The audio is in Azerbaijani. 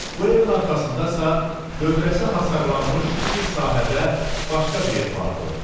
Bu evin arxasında isə dövrəsi hasarlanmış kiçik sahədə başqa bir ev vardı.